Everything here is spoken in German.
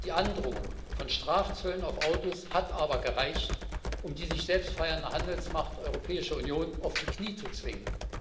Die Androhung von Strafzöllen auf Autos hat aber gereicht, um die sich selbst feiernde Handelsmacht Europäische Union auf die Knie zu zwingen.